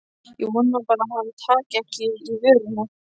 Ég vona bara að hann taki ekki í vörina.